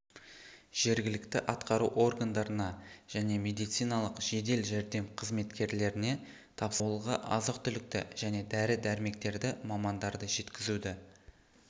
жергілікті атқару органдарына және медициналық жедел жәрдем қызметкерлеріне тапсырды ауылға азық-түлікті және дәрі-дәрмектерді мамандарды жеткізуді